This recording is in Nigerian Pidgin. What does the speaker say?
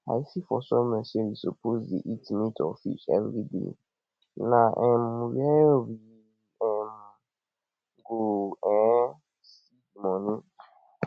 i see for somewhere sey we suppose dey eat meat or fish everyday na um where we um go um see the money